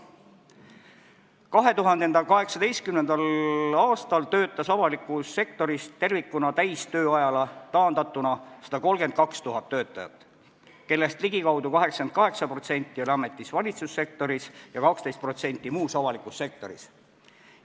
2018. aastal töötas avalikus sektoris tervikuna täistööajale taandatuna 132 000 töötajat, kellest ligikaudu 88% oli ametis valitsussektoris ja 12% muus avalikus sektoris.